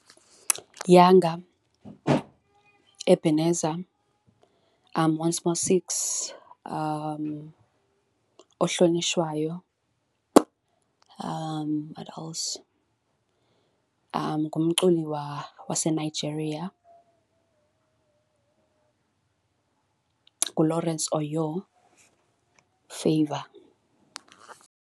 Yanga, Ebeneza, Oncemore Six, Ohlonitshwayo what else? ngumculi waseNigeria uLawrence Oyor Favour.